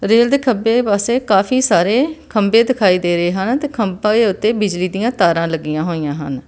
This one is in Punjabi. ਰੇਲ ਦੇ ਖੱਬੇ ਪਾਸੇ ਕਾਫੀ ਸਾਰੇ ਖੰਬੇ ਦਿਖਾਈ ਦੇ ਰਹੇ ਹਨ ਤੇ ਖੰਬੇ ਉੱਤੇ ਬਿਜਲੀ ਦੀਆਂ ਤਾਰਾਂ ਲੱਗੀਆਂ ਹੋਈਆਂ ਹਨ।।